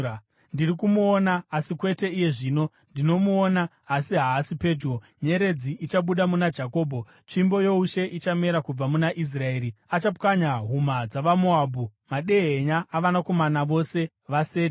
“Ndiri kumuoona, asi kwete iye zvino; ndinomuona, asi haasi pedyo. Nyeredzi ichabuda muna Jakobho; Tsvimbo youshe ichamera kubva muna Israeri. Achapwanya huma dzavaMoabhu, madehenya avanakomana vose vaSeti.